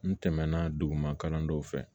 N tɛmɛna duguma kalan dɔw fɛ